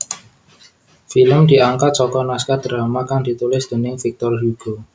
Film diangkat saka naskah drama kang ditulis déning Victor Hugo